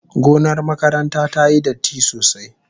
Gonar makarantar tayi datti sosai.